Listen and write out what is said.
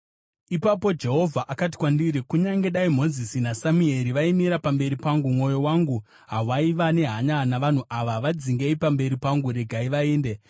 Ipapo Jehovha akati kwandiri, “Kunyange dai Mozisi naSamueri vaimira pamberi pangu, mwoyo wangu hawaiva nehanya navanhu ava. Vadzingei pamberi pangu! Regai vaende!